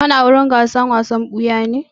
Kana wurin gasar wasan ɓuya-ɓuyan ne?